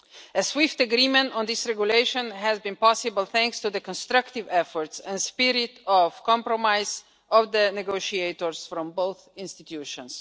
A swift agreement on this Regulation has been possible, thanks to the constructive efforts and spirit of compromise of the negotiators from both institutions.